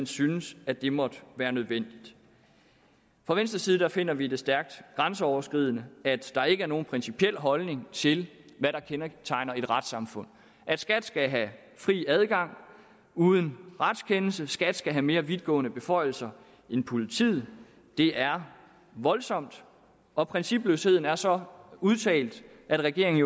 syntes at det måtte være nødvendigt fra venstres side finder vi det stærkt grænseoverskridende at der ikke er nogen principiel holdning til hvad der kendetegner et retssamfund at skat skal have fri adgang uden retskendelse at skat skal have mere vidtgående beføjelser end politiet det er voldsomt og principløsheden er så udtalt at regeringen